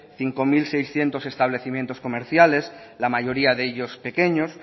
cinco mil seiscientos establecimientos comerciales la mayoría de ellos pequeños